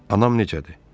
Anam necədir?